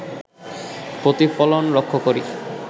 প্রতিফলন লক্ষ করি